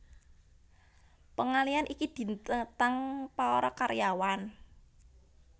Pengalihan iki ditentang para karyawan